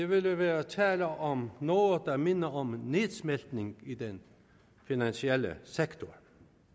ville være tale om noget der mindede om en nedsmeltning i den finansielle sektor